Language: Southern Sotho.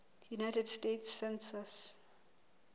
united states census